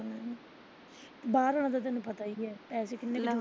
ਬਾਹਰ ਆਲਾ ਤੈਨੂੰ ਪਤਾ ਹੀ ਆ ਪੈਸੇ ਕਿੰਨੇ ਲੈਂਦੇ।